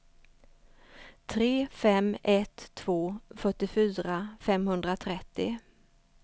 tre fem ett två fyrtiofyra femhundratrettio